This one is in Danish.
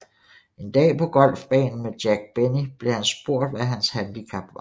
En dag på golfbanen med Jack Benny blev han spurgt hvad hans handicap var